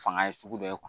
Fanga ye sugu dɔ ye